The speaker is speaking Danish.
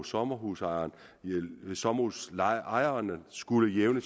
sommerhusejeren sommerhusejeren skulle jævne